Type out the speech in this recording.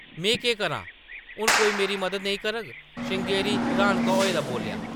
“में केह्‌‌ करां ? हुन कोई मेरी मदद नेईं करग, ” श्रृंगेरी रन्हाका होए दा बोल्लेआ ।